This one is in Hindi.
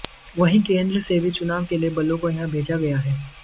वहीं केंद्र से भी चुनाव के लिए बलों को यहां भेजा गया है